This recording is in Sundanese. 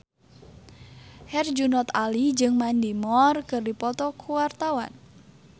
Herjunot Ali jeung Mandy Moore keur dipoto ku wartawan